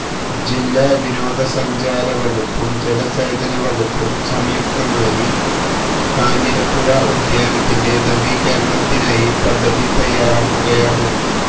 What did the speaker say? ജില്ലാ വിനോദസഞ്ചാരവകുപ്പും ജലസേചനവകുപ്പും സംയുക്തമായി കാഞ്ഞിരപ്പുഴ ഉദ്യാനത്തിന്റെ നവീകരണത്തിനായി പദ്ധതി തയ്യാറാക്കുകയാണ്